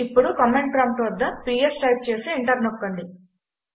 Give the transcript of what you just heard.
ఇప్పుడు command prompt వద్ద PS type చేసి ఎంటర్ నొక్కండి